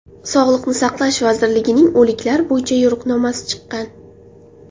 Sog‘liqni saqlash vazirligining o‘liklar bo‘yicha yo‘riqnomasi chiqqan.